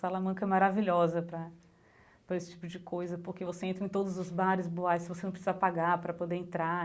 Salamanca é maravilhosa para para esse tipo de coisa, porque você entra em todos os bares, boates, você não precisa pagar para poder entrar.